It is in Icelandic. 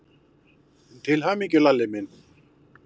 Til hamingju, Lalli minn.